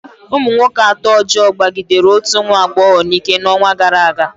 Ụmụ nwoke atọ ọjọọ kpagidere otu nwa agbọghọ n'ike n'ọnwa gara aga.